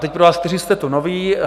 Teď pro vás, kteří jste tu noví.